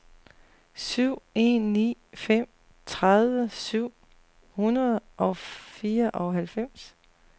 syv en ni fem tredive syv hundrede og fireoghalvfems